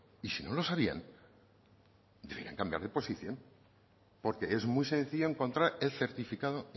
y si no lo sabían debieran cambiar de posición porque es muy sencillo encontrar el certificado